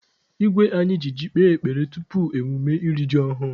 Igwe anyị ji ọjị kpee ekpere tupu emume iri ji ọhụrụ.